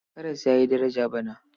Karas ya yi daraja bana.